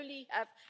We only have